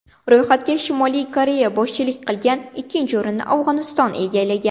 Ro‘yxatga Shimoliy Koreya boshchilik qilgan, ikkinchi o‘rinni Afg‘oniston egallagan.